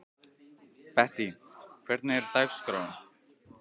Bettý, hvernig er dagskráin?